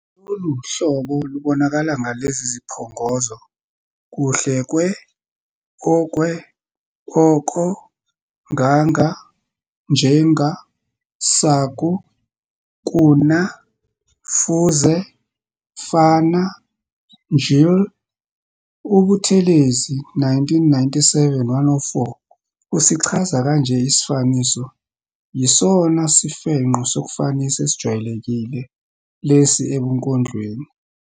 Lolu hlobo lubonakala ngelezi ziphongozo, kuhle kwe-, okwe-,oko-, nganga-,njenga-, saku-, kuna-, fuze-, fana, njll. UButhelezi, 1997, 104, usichaza kanje isifaniso, "Yisona sifengqo sokufanisa esijwayelekile lesi ebunkondlweni.